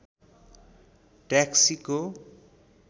ट्याक्सीको